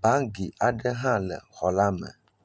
Bagi aɖe hã le xɔ la me.